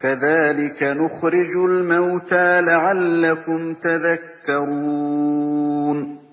كَذَٰلِكَ نُخْرِجُ الْمَوْتَىٰ لَعَلَّكُمْ تَذَكَّرُونَ